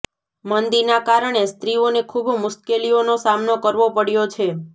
મંદીના કારણે સ્ત્રીઓને ખુબ મુશ્કેલીઓનો સામનો કરવો પડ્યો છે